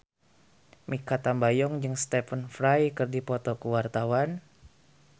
Mikha Tambayong jeung Stephen Fry keur dipoto ku wartawan